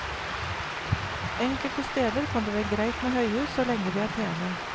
Enkelte steder kan det være greit med høyhus, så lenge de er pene.